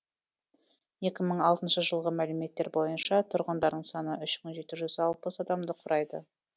екі мың алтыншы жылғы мәліметтер бойынша тұрғындарының саны үш мың жеті жүз алпыс адамды құрайды